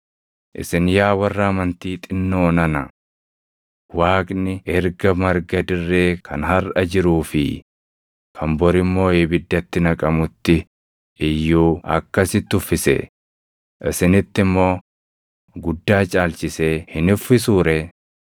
Isin yaa warra amantii xinnoo nana. Waaqni erga marga dirree kan harʼa jiruu fi kan bor immoo ibiddatti naqamutti iyyuu akkasitti uffisee, isinitti immoo guddaa caalchisee hin uffisuu ree?